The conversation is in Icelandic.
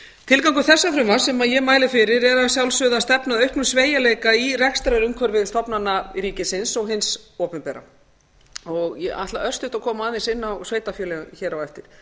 tilgangur þessa frumvarps sem ég mæli fyrir er að sjálfsögðu að stefna að auknum sveigjanleika í rekstrarumhverfi stofnana ríkisins og hins opinbera ég ætla örstutt að koma aðeins inn á sveitarfélögin hér á eftir